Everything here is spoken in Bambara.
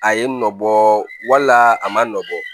A ye nɔ bɔ wala a ma nɔ bɔ